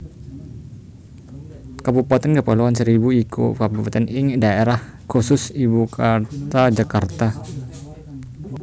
Kabupatèn Kepulauan Seribu iku Kabupatèn ing Daerah Khusus Ibukutha Jakarta